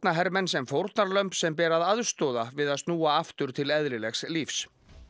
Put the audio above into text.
barnahermenn sem fórnarlömb sem beri að aðstoða við að snúa aftur til eðlilegs lífs